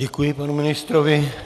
Děkuji panu ministrovi.